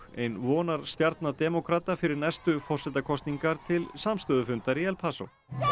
ein vonarstjarna demókrata fyrir næstu forsetakosningar til samstöðufundar í El